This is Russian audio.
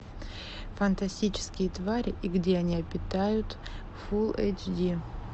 фантастические твари и где они обитают фул эйч ди